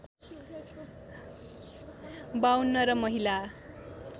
५२ र महिला